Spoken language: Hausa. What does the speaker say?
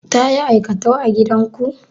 Ta yi aikatau a gidanku?